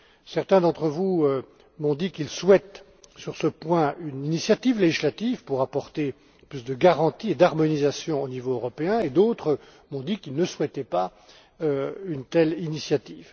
Certains d'entre vous m'ont dit qu'ils souhaitent sur ce point une initiative législative pour apporter plus de garanties et d'harmonisation au niveau européen et d'autres m'ont qu'ils ne souhaitaient pas une telle initiative.